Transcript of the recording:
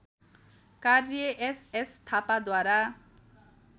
कार्य एसएस थापाद्वारा